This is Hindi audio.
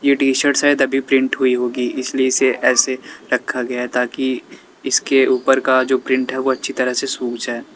ये टी शर्ट्स है तभी प्रिंट हुई होगी इसलिए इसे ऐसे रखा गया ताकि इसके ऊपर का जो प्रिंट है वो अच्छी तरह सुख जाए।